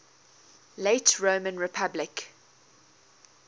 late roman republic